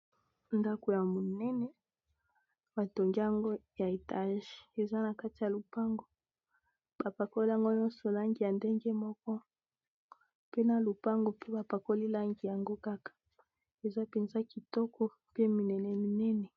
Ndako ya monene ba tongi yango ya etage eza na kati ya lopango ba pakoli yango nyonso langi ya ndenge moko mpe na lopango mpe ba pakoli langi yango kaka eza penza kitoko mpe minene minene.